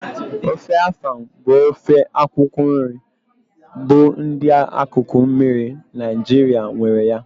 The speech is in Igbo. Ofe afang bụ ofe akwụkwọ nri bụ ndị akụkụ mmiri Naijiria nwere ya